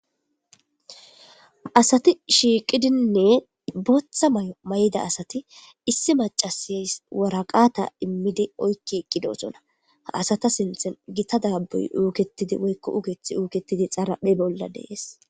asati shiiqidinne booththa may7o may7ida asati issi macasys woraqata immidi oykki eqqidosona ha asata sinthen gita daabuy uuketidi woykko ugethi uuketidi xaaraphe bolla dees